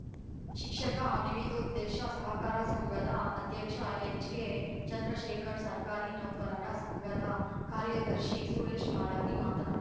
ಶಿಕ್ಷಕ ವಿವಿದ್ದೋದ್ದೇಶ ಸಹಕಾರ ಸಂಘದ ಅಧ್ಯಕ್ಷ ಎಚ್‌ಕೆಚಂದ್ರಶೇಖರ್‌ ಸರ್ಕಾರಿ ನೌಕರರ ಸಂಘದ ಕಾರ್ಯದರ್ಶಿ ಸುರೇಶ್‌ ಮಾಳಗಿ ಮಾತನಾಡಿದರು